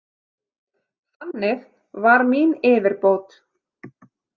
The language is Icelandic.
Þannig var mín yfirbót.